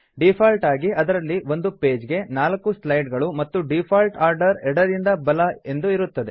default ಆಗಿ ಅದರಲ್ಲಿ ಒಂದು ಪೇಜ್ ಗೆ 4 ಸ್ಲೈಡ್ ಗಳು ಮತ್ತು ಡೀಫಾಲ್ಟ್ ಆರ್ಡರ್ ಎಡದಿಂದ ಬಲ ಎಂದು ಇರುತ್ತದೆ